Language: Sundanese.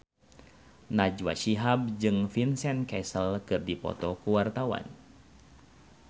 Najwa Shihab jeung Vincent Cassel keur dipoto ku wartawan